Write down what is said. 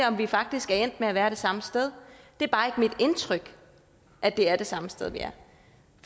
om vi faktisk er endt med at være det samme sted det er bare ikke mit indtryk at det er det samme sted vi er